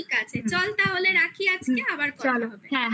ঠিক আছে চল তাহলে রাখি আজকে আবার কথা হবে পরে